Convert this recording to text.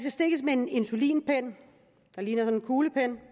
stikkes med en insulinpen der ligner en kuglepen